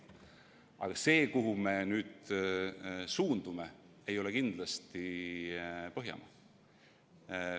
Aga see, kuhu me nüüd suundume, ei ole kindlasti Põhjamaa.